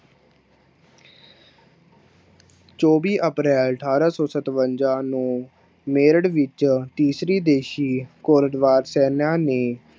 ਚੌਵੀ ਅਪ੍ਰੈਲ ਅਠਾਰਾਂ ਸੌ ਸਤਵੰਜਾ ਨੂੰ ਮੇਰਠ ਵਿੱਚ ਤੀਸਰੀ ਦੇਸ਼ੀ ਕੋਰਟਵਾਦ ਸੈਨਾ ਨੇ